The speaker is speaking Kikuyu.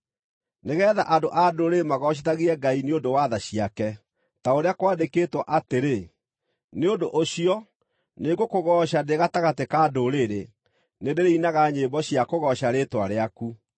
nĩgeetha andũ-a-Ndũrĩrĩ magoocithagie Ngai nĩ ũndũ wa tha ciake, ta ũrĩa kwandĩkĩtwo atĩrĩ: “Nĩ ũndũ ũcio nĩngũkũgooca ndĩ gatagatĩ ka ndũrĩrĩ; nĩndĩrĩinaga nyĩmbo cia kũgooca rĩĩtwa rĩaku.”